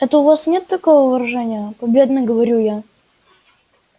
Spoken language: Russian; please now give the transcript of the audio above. это у вас нет такого выражения победно говорю я